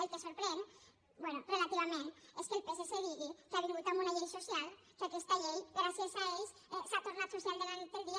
el que sorprèn bé relativament és que el psc digui que ha vingut amb una llei social que aquesta llei gràcies a ells s’ha tornat social de la nit al dia